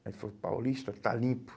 Aí ele falou, Paulista, está limpo.